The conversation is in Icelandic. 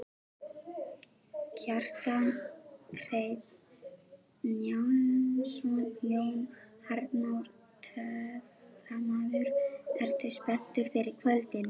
Kjartan Hreinn Njálsson: Jón Arnór töframaður, ertu spenntur fyrir kvöldinu?